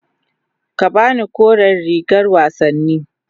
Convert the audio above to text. Ka ba ni kore rigar wasanni.